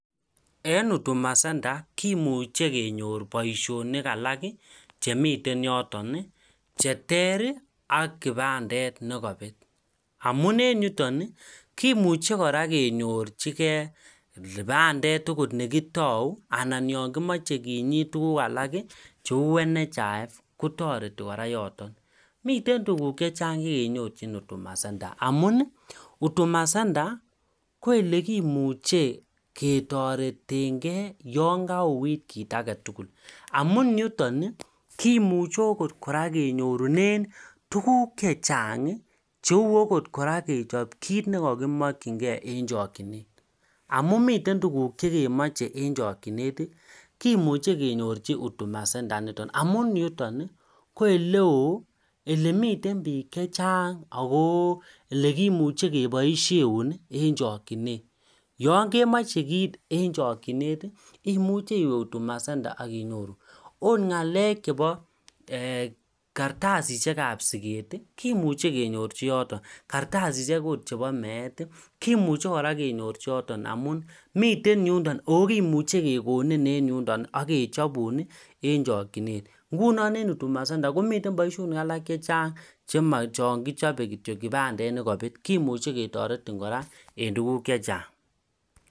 En hutuma center kimuche kenyor boisionik alak chemiten yoton cheter aK kibandet nekobet amun en yuton kimuche kora kenyorjigei kibandet akot nekitou anan ok yon kimoche kinyiit tuguk cheu nhif kotoreti kora yoton miten tuguk chechang chekenyorji hutuma center amun hutuma center koelekimuche ketoretengei yon kakouit kit agetugul amun yuton kimuche ogot kora kenyorunen tuguk chechang cheu okot kora kechob kit nekokimokyingei en chokjinet amun miten tuguk chekemoche en chokjinet kimuche kenyorji hutuma center nito amun yuton ii ko eleoo elemiten biik chechang ago elekimiche keboisien en chokjinet yon kemoje kiit en chokjinet imuchel iwe hutuma center aK inyiru ot galek chebo ee kartasisiek kab siget kimuche kenyorji yoton kartasisiek chebo meet kimuche kenyorji yoton amun miten yundoin ako kimuche kekonin aK kechobum en chokjinet amun en hutuma center komiten boisionik che chechang chema kibandet nekobetkityok Ako kimuche ketoretin en tuguk chechang